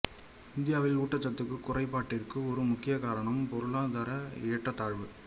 இந்தியாவில் ஊட்டச்சத்துக் குறைபாட்டிற்கு ஒரு முக்கிய காரணம் பொருளாதார ஏற்றத்தாழ்வு